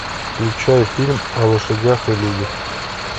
включай фильм о лошадях и людях